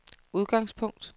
udgangspunkt